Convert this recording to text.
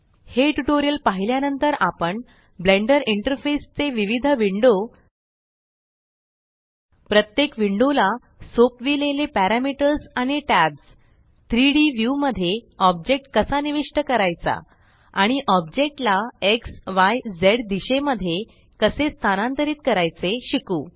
हे ट्यूटोरियल पाहिल्या नंतर आपण ब्लेंडर इंटरफेस चे विविध विंडो प्रत्येक विंडो ला सोपविलेले पॅरमीटर्स आणि टॅब्स 3Dव्यू मध्ये ऑब्जेक्ट कसा निविष्ट करायचा आणि ऑब्जेक्ट ला एक्स य झ दिशेमध्ये कसे स्थानांतरित करायचे शिकू